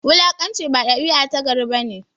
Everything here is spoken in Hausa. Wulakanci ba dabia ta gari bane